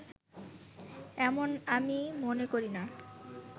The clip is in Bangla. এমন আমি মনে করিনা